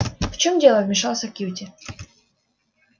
в чем дело вмешался кьюти